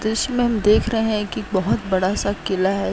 इसमें देख रहे हैं कि बहोत बड़ा-सा किला है।